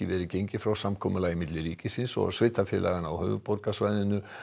verið gengið frá samkomulagi milli ríkisins og sveitarfélaganna á höfuðborgarsvæðinu